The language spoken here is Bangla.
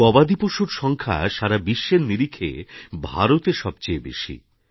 গবাদি পশুর সংখ্যা সারা বিশ্বের নিরিখে ভারতে সবচেয়ে বেশি